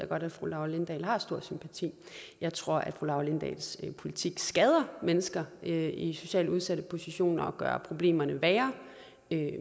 godt at fru laura lindahl har stor sympati jeg tror fru laura lindahls politik skader mennesker i socialt udsatte positioner og gør problemerne værre